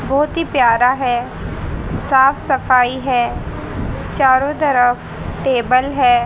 बोहोत ही प्यारा है साफ सफाई है चारों तरफ टेबल हैं।